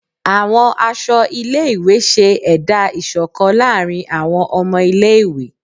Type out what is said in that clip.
Àwọn aṣọ ilé-ìwé ṣẹ́ ẹ̀dá ìṣọ̀kan láàrin àwọn ọmọ ilé-ìwé.